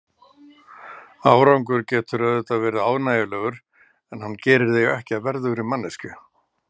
Árangur getur auðvitað verið ánægjulegur, en hann gerir þig ekki að verðugri manneskju.